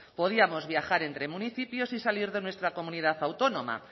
podíamos viajar entre municipios sin salir de nuestra comunidad autónoma